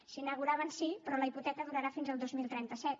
se n’inauguraven sí però la hipoteca durarà fins al dos mil trenta set